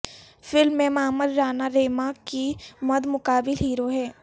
film میں معمر رانا ریما کے مد مقابل ہیرو ہیں